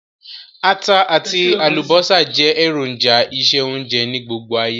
Ata àtí àlùbọ́sà je èròjà ìse-ounje ni gbogbo ayé